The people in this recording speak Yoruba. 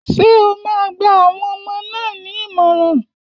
Ṣé o máa gba àwọn ọmọ náà ní ìmọ̀ràn?